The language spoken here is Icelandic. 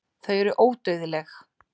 Þau eru ódauðleg.